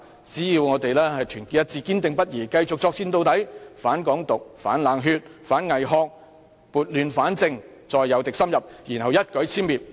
只要我們團結一致，堅定不移，繼續作戰到底，反港獨、反冷血，反偽學，撥亂反正，再誘敵深入，然後予以一舉殲滅！